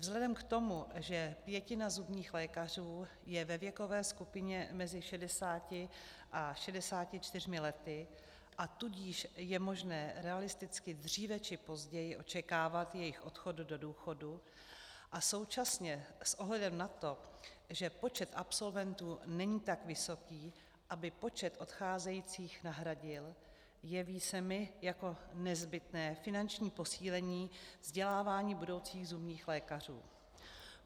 Vzhledem k tomu, že pětina zubních lékařů je ve věkové skupině mezi 60 a 64 lety, a tudíž je možné realisticky dříve či později očekávat jejich odchod do důchodu, a současně s ohledem na to, že počet absolventů není tak vysoký, aby počet odcházejících nahradil, jeví se mi jako nezbytné finanční posílení vzdělávání budoucích zubních lékařů.